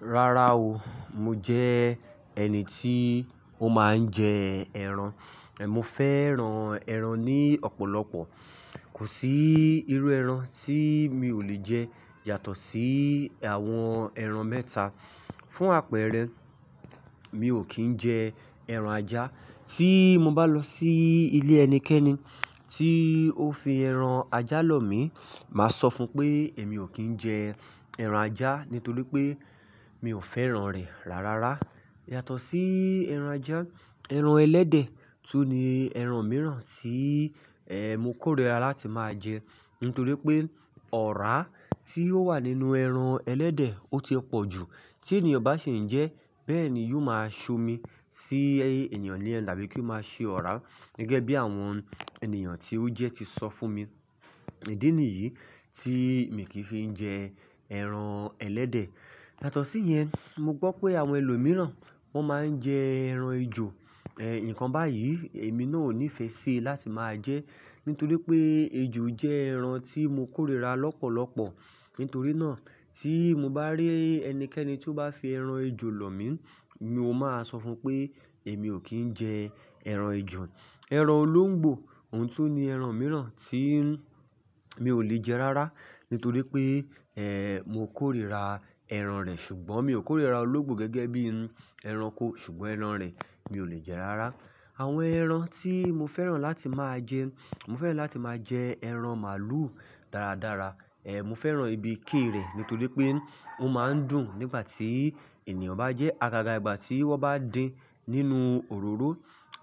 Rárá o, mo jẹ́ ẹni tí ó máa ń jẹ ẹran. Mo fẹ́ran ẹran ní ọ̀pọ̀lọpọ̀. Kò sí irú ẹran tí mi ò lè jẹ, yàtọ̀ sí àwọn ẹran mẹ́ta. Fún àpẹẹrẹ, mi ò kí ń jẹ ẹran ajá. Tí mo bá lọ sí ilé ẹnikẹ́ni tí ó fi ẹran ajá lọ̀ mí, màá sọ fún un pé èmi ò kí ń jẹ ẹran ajá nítorí pé mi ò fẹ́ran rẹ̀ rárára. Yàtọ̀ sí ẹran ajá, ẹran ẹlẹ́dẹ̀, tún ni ẹran mìíràn tí, eh, mo kórìíra láti máa jẹ. Nítorí pé ọ̀rá tí ó wà nínú ẹran ẹlẹ́dẹ̀, ó ti ẹpọ̀ jù. Tí ènìyàn bá ṣe ń jẹ ẹ́, bẹ́ẹ̀ ni yóò máa ṣomi sí ènìyàn ní ẹ̀ẹ́nà bí kò máa ṣe ọ̀rá. Gẹ́gẹ́ bí àwọn ènìyàn tí ó jẹ ti sọ fún mi. Idí nìyí tí mi kì í fi ń jẹ ẹran ẹlẹ́dẹ̀. Yàtọ̀ sí yẹn, mo gbọ́ pé àwọn ẹlòmíràn wọ́n máa ń jẹ ẹran ejò. Eh, nǹkan báyìí èmi náà ò nífẹ̀ẹ́ sí i láti máa jẹ ẹ́. Nítorí pé ejò jẹ́ ẹran tí mo kórìíra lọ́pọ̀lọpọ̀. Nítorí náà tí mo bá rí ẹnikẹ́ni tí ó bá fi ẹran ejò lọ̀ mí, mi ò máa sọ fún un pé èmi ò kí ń jẹ ẹran ejò. Ẹran olóńgbò, òun tún ni ẹran mìíràn tí mi ò lè jẹ rárá. Nítorí pé, eh, mo kórìíra ẹran rẹ̀ ṣùgbọ́n mi ò kórìíra olóńgbò gẹ́gẹ́ bí ẹranko ṣùgbọ́n ẹran rẹ̀ mi ò lè jẹ rárá. Àwọn ẹran tí mo fẹ́ràn láti máa jẹ, mo fẹ́ràn láti máa jẹ ẹran màlúù dáradára. Eh, mo fẹ́ràn ibi iké rẹ̀ nítorí pé ó máa ń dùn nígbà tí ènìyàn bá jẹ ẹ́, àgàgà ìgbà tí wọ́n bá dín ín nínú òróró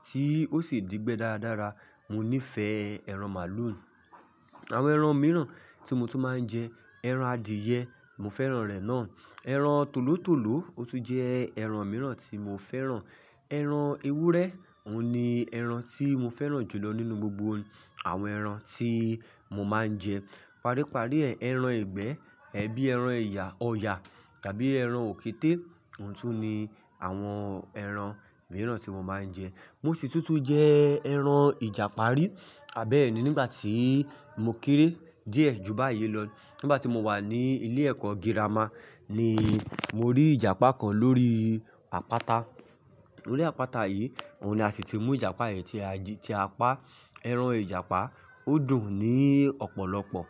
tí ó sì dí gbẹ dáradára. Mo nífẹ̀ẹ́ ẹran màlúù. Àwọn ẹran mìíràn tí mo tún máa ń jẹ, ẹran adìẹ, mo fẹ́ràn rẹ̀ náà. Ẹran tòlótòló, ó tún jẹ́ ẹran mìíràn tí mo fẹ́ràn. Ẹran ewúrẹ́, òun ni ẹran tí mo fẹ́ràn jù lọ nínú gbogbo àwọn ẹran tí mo máa ń jẹ. Paríparí ẹran ẹ̀gbẹ́, ẹbí ẹran oyà, ọ̀yà tàbí ẹran òkété, òun tún ni àwọn ẹran mìíràn tí mo máa ń jẹ. Múṣì tútù jẹ́ ẹran ìjàparí. Àbẹ́ẹ̀ni nígbà tí mo kéré díẹ̀ ju báyìí lọ, nígbà tí mo wà ní ilé ẹ̀kọ́ girama ni mo rí ìjàpá kan lórí àpáta. Lórí àpáta yìí, òun ni a sì ti mú ìjàpá yẹn tí a jí, tí a pa. Ẹran ìjàpá, ó dùn ní ọ̀pọ̀lọpọ̀.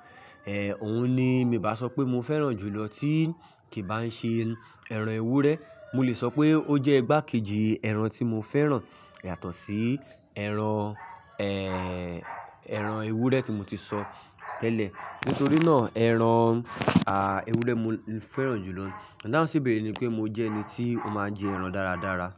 Eh, òun ni mi bá sọ pé mo fẹ́ràn jù lọ tí kì bá ń ṣe ẹran ewúrẹ́, mo lè sọ pé ó jẹ́ gbáàkíìji ẹran tí mo fẹ́ràn yàtọ̀ sí ẹran, eh, ẹran ewúrẹ́ tí mo ti sọ tẹ́lẹ̀. Nítorí náà ẹran, ah, ewúrẹ́ mo fẹ́ràn jù lọ. Ọ̀daunsí ibẹ̀rẹ̀ ni pé mo jẹ́ ẹni tí ó máa ń jẹ ẹran dáradára.